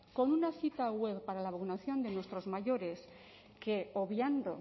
con una cita web para la vacunación de nuestros mayores que obviando